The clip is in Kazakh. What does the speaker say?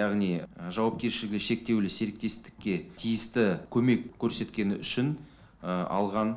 яғни жауапкершілігі шектеулі серіктестікке тиісті көмек көрсеткені үшін алған